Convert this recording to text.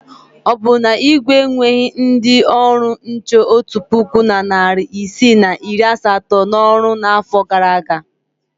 Ọ bụ na Igwe enweghi ndị ọrụ nche otu puku na narị isii na iri asatọ n'ọrụ n'afọ gara aga?